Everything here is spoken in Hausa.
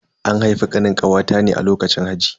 An haifi Kanin kawata ne a lokacin haji.